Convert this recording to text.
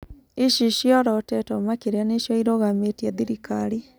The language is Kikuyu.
Ici ciorotĩtwo makĩria nĩcio irũgamĩtie thirikari.